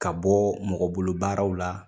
Ka bɔ mɔgɔbolobaraw la